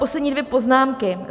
Poslední dvě poznámky.